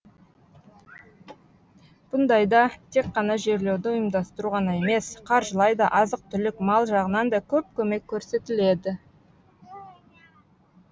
бұндайда тек қана жерлеуді ұйымдастыру ғана емес қаржылай да азық түлік мал жағынан да көп көмек көрсетіледі